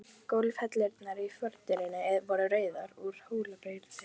Þetta virðist vera hin íslenska þakkargjörðarhátíð.